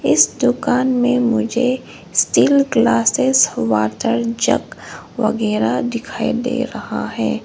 इस दुकान में मुझे स्टील क्लासेस वाटर जग वगैरा दिखाई दे रहा है।